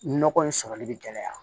Nɔgɔ in sɔrɔli bɛ gɛlɛya